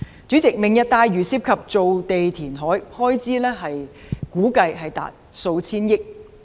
主席，"明日大嶼"涉及填海造地，開支估計達數千億元。